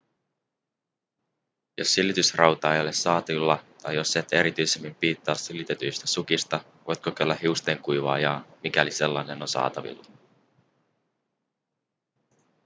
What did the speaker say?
jos silitysrautaa ei ole saatavilla tai jos et erityisemmin piittaa silitetyistä sukista voit kokeilla hiustenkuivaajaa mikäli sellainen on saatavilla